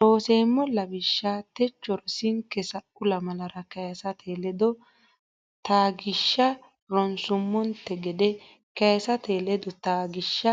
Looseemmo Lawishsha techo rosinke sa u lamalara Kaysate ledo taggishsha ronsummonte gede kaysate ledo taggishsha